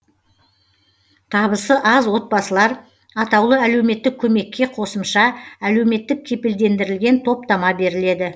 табысы аз отбасылар атаулы әлеуметтік көмекке қосымша әлеуметтік кепілдендірілген топтама беріледі